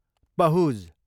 Pahuj